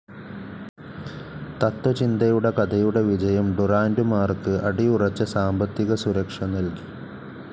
തത്ത്വചിന്തയുടെ കഥയുടെ വിജയം ഡുറാന്റുമാർക്ക് അടിയുറച്ച സാമ്പത്തിക സുരക്ഷ നൽകി.